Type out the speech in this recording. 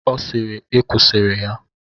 Ọ sịịrị, I kwusịrị ya!